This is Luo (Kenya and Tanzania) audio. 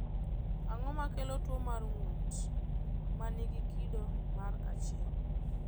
Ang’o ma kelo tuwo mar ng’ut ma nigi kido mar 1?